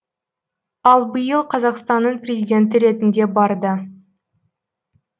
ал биыл қазақстанның президенті ретінде барды